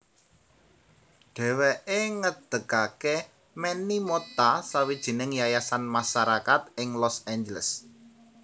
Dheweke ngedegake Manny Mota sawijining yayasan masarakat ing Los Angeles